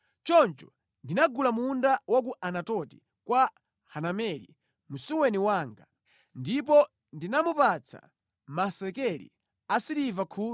choncho ndinagula munda wa ku Anatoti kwa Hanameli msuweni wanga, ndipo ndinamupatsa masekeli asiliva 17.